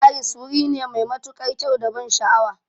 Paris wuri ne mai matuƙar kyau da ban sha'awa